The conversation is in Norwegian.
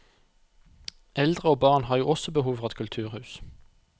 Eldre og barn har jo også behov for et kulturhus.